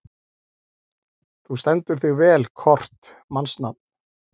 Þú stendur þig vel, Kort (mannsnafn)!